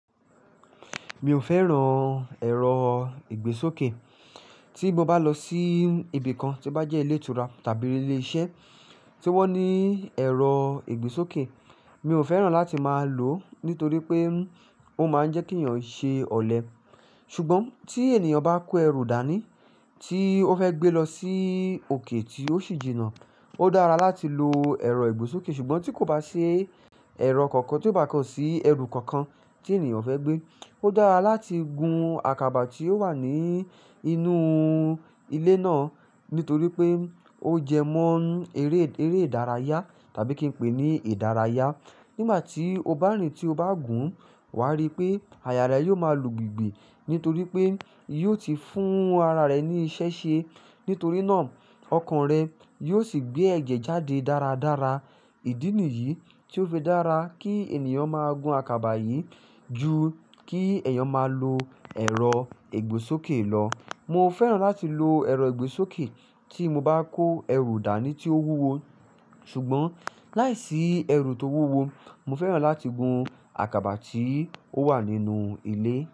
Mi ò fẹ́ràn ẹ̀rọ ìgbésókè. Tí mo bá lọ sí ibi kan tí ó bá jẹ́ ilé ìtura tàbí ilé iṣẹ́ tí wón ní ẹ̀rọ ìgbésókè, mi ò fẹ́ràn láti máa lòó nítorí pé ó máań jẹ́ kí èèyàn ṣe ọ̀lẹ. Ṣùgbọ́n tí ènìyàn bá kó ẹrù dání tí ó fẹ́ gbé lọ sí òkè tíó sì jìnnà, ódára láti lo ẹ̀rọ ìgbésókè. Ṣùgbọ́n tíkò bá ṣi ẹ̀rọ kankan tíkó bá sí ẹrù kankan tí ènìyàn fẹ́ gbé, ó dára láti gun àkàbà tí ó wà ní inú ilé náà nítorí pé ó jẹ mọ́ eré, eré ìdárayá tàbí kí n pè é ní ìdárayá. Nígbàtí oban rìn tí o bá gun wá rí pé àyà rẹ̀ yó ma lùgbùlùgbù nítorí pé yóti fún ara rẹ̀ ní ishe she nítorí ná ọkàn rẹ̀ yósì gbé ẹ̀jẹ̀ jáde dára dára. Ìdí nìyí tíó fẹ́ dára kí ènìyàn máa gun àkàbà yìí ju kí èèyàn máa lo ẹ̀rọ ìgbésókè lọ. Mo fẹ́ràn láti lo ẹ̀rọ ìgbésókè tí mo bá kó ẹrù dání tí ó wúwo. Ṣùgbọ́n láìsí ẹrù tó wúwo, mo fẹ́ràn láti gun àkàbà tí ó wà nínú ilé.